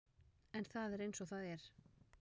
En það er eins og það er.